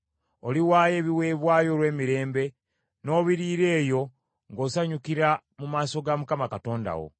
Oliwaayo ebiweebwayo olw’emirembe, n’obiriira eyo ng’osanyukira mu maaso ga Mukama Katonda wo.